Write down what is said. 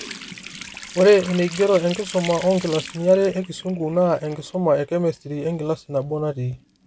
Ore eneigero enkisuma oonkilasini are ekisungu, na enkisuma ekemistri enkilasi nabo natii